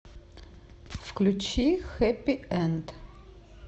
включи хэппи энд